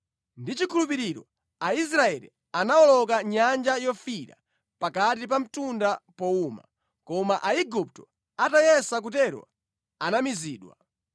Ndi chikhulupiriro Aisraeli anawoloka Nyanja Yofiira ngati pa mtunda powuma, koma Aigupto atayesa kutero anamizidwa.